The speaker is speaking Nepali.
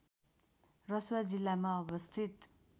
रसुवा जिल्लामा अवस्थित